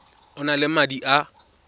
o na le madi a